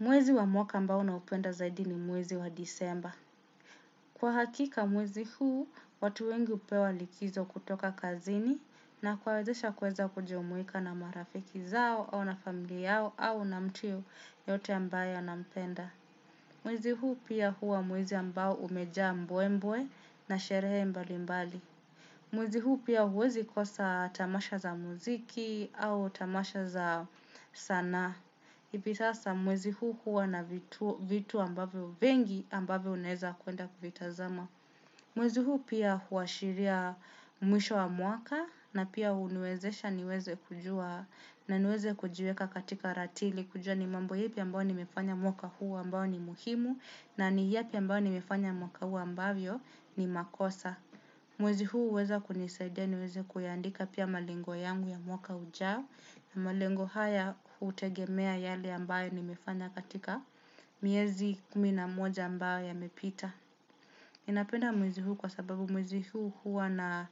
Mwezi wa mwaka ambao naupenda zaidi ni mwezi wa disemba. Kwa hakika mwezi huu, watu wengi upewa likizo kutoka kazini na kuwawezesha kuweza kujumuika na marafiki zao au na familia yao au na mtu yote ambaye anampenda. Mwezi huu pia huwa mwezi ambao umejaa mbwembwe na sherehe mbali mbali. Mwezi huu pia huwezi kosa tamasha za muziki au tamasha za sanaa. Na ipi sasa mwezi huu kuwa na vitu ambavyo vingi ambavyo unaeza kuenda kuvitazama. Mwezi huu pia huashiria mwisho wa mwaka na pia huniwezesha niweze kujua na niweze kujiweka katika ratili. Kujua ni mambo yepi ambao ni mefanya mwaka huu ambao ni muhimu na ni yepi ambayo ni mefanya mwaka huu ambavyo ni makosa. Mwezi huu uweza kunisadia niweze kuyandika pia malengo yangu ya mwaka ujao. Na malengo haya hutegemea yale ambayo ni mefanya katika miezi kumi na moja ambayo yamepita ninapenda mwezi huu kwa sababu mwezi huu huwa na